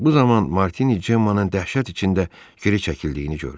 Bu zaman Martini Cemmanın dəhşət içində geri çəkildiyini gördü.